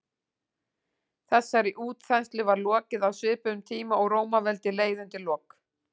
þessari útþenslu var lokið á svipuðum tíma og rómaveldi leið undir lok